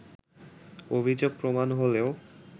অভিযোগ প্রমাণ হলেও